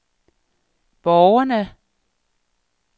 borgerne